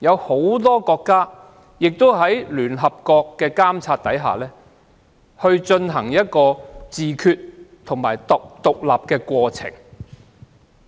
很多國家在聯合國監察下，進行自決及獨立的過程。